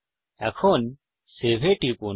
এখন সেভ এ টিপুন